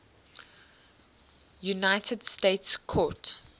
united states court